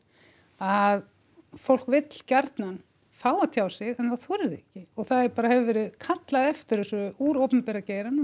að fólk vill gjarnan fá að tjá sig en það þorir því ekki og það bara hefur verið kallað eftir þessu úr opinbera geiranum um